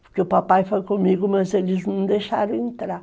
Porque o papai foi comigo, mas eles não deixaram entrar.